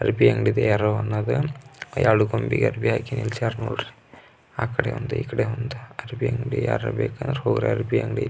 ಅರ್ಬಿ ಅಂಗಡಿದ ಯಾರೋ ಅನ್ನೋದು ಯಾಡೋ ಗೊಂಬೆಗೆ ಅರ್ಬಿ ಹಾಕಿ ನಿಲ್ಸಯಾರ್ ನೋಡ್ರಿ ಆಕಡೆ ಒಂದು ಇಕ್ಕಡೆ ಒಂದು ಅರ್ಬಿ ಅಂಗಡಿ ಯಾರಾರು ಬೇಕಾದ್ರೆ ಹೋಗ್ರಿ ಅರ್ಬಿ ಅಂಗಡಿ.